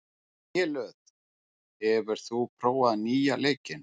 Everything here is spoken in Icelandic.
Grélöð, hefur þú prófað nýja leikinn?